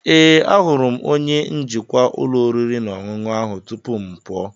Ee, ahụrụ m onye njikwa ụlọ oriri na ọṅụṅụ ahụ tupu m pụọ.